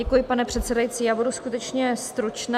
Děkuji, pane předsedající, já budu skutečně stručná...